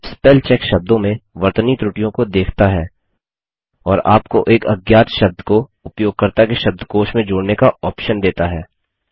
spellcheck शब्दों में वर्तनी त्रुटियों को देखता है और आपको एक अज्ञात शब्द को उपयोगकर्ता के शब्दकोश में जोड़ने का ऑप्शन देता है